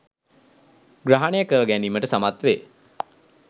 ග්‍රහණය කර ගැනීමට සමත්වේ.